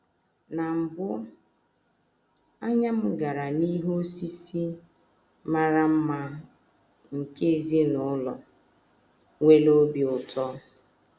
Na mbụ, anya m gara n’ihe osise mara mma nke ezinụlọ nwere obi ụtọ.